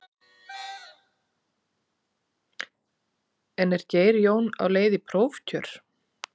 En er Geir Jón á leið í prófkjör?